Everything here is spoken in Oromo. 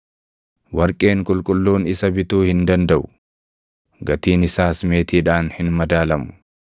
Warqeen qulqulluun isa bituu hin dandaʼu; gatiin isaas meetiidhaan hin madaalamu.